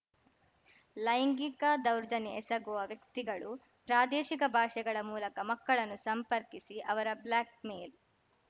ಲೈಂಗಿಕ ದೌರ್ಜನ್ಯ ಎಸಗುವ ವ್ಯಕ್ತಿಗಳು ಪ್ರಾದೇಶಿಕ ಭಾಷೆಗಳ ಮೂಲಕ ಮಕ್ಕಳನ್ನು ಸಂಪರ್ಕಿಸಿ ಅವರ ಬ್ಲಾಕ್‌ಮೇಲ್